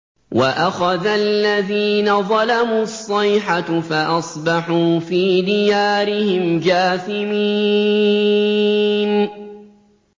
وَأَخَذَ الَّذِينَ ظَلَمُوا الصَّيْحَةُ فَأَصْبَحُوا فِي دِيَارِهِمْ جَاثِمِينَ